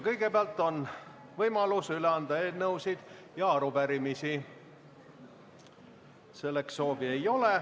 Kõigepealt on võimalus üle anda eelnõusid ja arupärimisi.